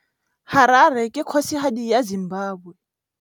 Harare ke kgosigadi ya Zimbabwe.